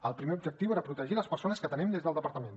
el primer objectiu era protegir les persones que atenem des del departament